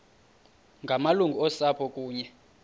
ngamalungu osapho kunye